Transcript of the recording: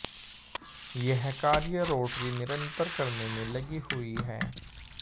यह कार्य रोटरी निरन्तर करने में लगी हुई है